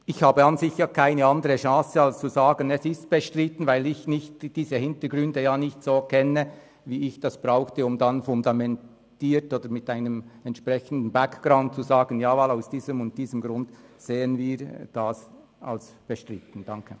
Ich habe an und für sich keine andere Chance, als zu sagen, es sei bestritten, weil ich die Hintergründe nicht so kenne, wie ich das können sollte, um fundiert oder mit einem entsprechenden Background zu sagen «Ja, voilà, aus diesem und diesem Grund sehen wir das als bestritten».